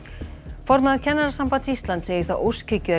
formaður Kennarasambands Íslands segir það óskhyggju að